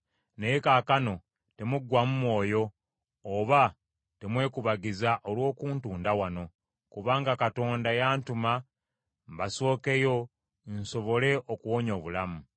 Naye kaakano temuggwaamu mwoyo, oba temwekubagiza olw’okuntunda wano, kubanga Katonda yantuma mbasookeyo nsobole okuwonya obulamu.